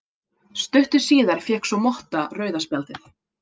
Stuttu síðar fékk svo Motta rauða spjaldið.